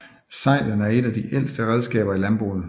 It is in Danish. Seglen er et af de ældste redskaber i landbruget